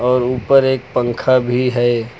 और ऊपर एक पंखा भी है।